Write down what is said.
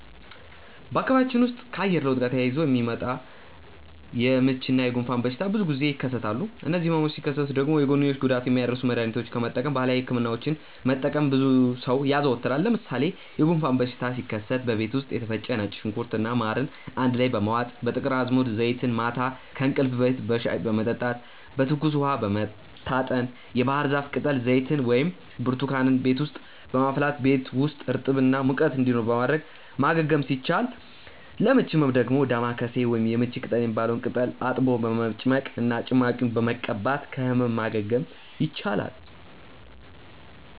በአካባቢያችን ውስጥ ከአየር ለውጥ ጋር ተያይዞ የሚመጣ የምች እና የጉንፋን በሽታ ብዙ ጊዜ ይከሰታሉ። እነዚህ ህመሞች ሲከሰቱ ደግሞ የጎንዮሽ ጉዳት የሚያደርሱ መድሀኒቶችን ከመጠቀም ባህላዊ ህክምናዎችን መጠቀምን ብዙ ሰው ያዘወትራል። ለምሳሌ የጉንፋን በሽታ ሲከሰት በቤት ውስጥ የተፈጨ ነጭ ሽንኩርት እና ማርን አንድ ላይ በመዋጥ፣ የጥቁር አዝሙድ ዘይትን ማታ ከእንቅልፍ በፊት በሻይ በመጠጣት፣ በትኩስ ውሃ በመታጠን፣ የባህርዛፍ ቅጠል ዘይትን ወይም ብርቱካንን ቤት ውስጥ በማፍላት ቤት ውስጥ እርጥበት እና ሙቀት እንዲኖር በማድረግ ማገገም ሲቻል፤ ለምች ህመም ደግሞ ዳማከሴ ወይም የምች ቅጠል የሚባለውን ቅጠል አጥቦ በመጭመቅ እና ጭማቂውን በመቀባት ከህመም ማገገም ይቻላል።